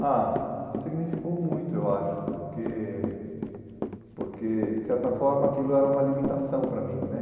Ah, significou muito, eu acho, porque, porque, de certa forma, aquilo era uma limitação para mim, né?